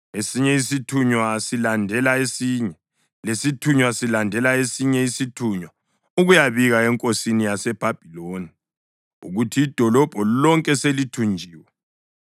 Esinye isithunywa silandela esinye; lesithunywa silandela esinye isithunywa ukuyabika enkosini yaseBhabhiloni ukuthi idolobho lonke selithunjiwe,